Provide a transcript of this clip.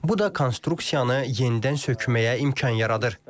Bu da konstruksiyanı yenidən sökməyə imkan yaradır.